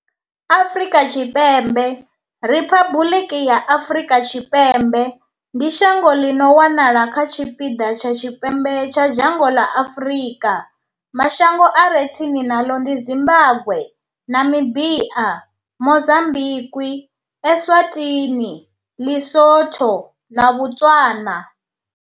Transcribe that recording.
Afrika Tshipembe, Riphabuḽiki ya Afrika Tshipembe, ndi shango ḽi no wanala kha tshipiḓa tsha tshipembe tsha dzhango ḽa Afrika. Mashango a re tsini naḽo ndi Zimbagwe, Namibia, Mozambikwi, Eswatini, LiSotho na Botswana.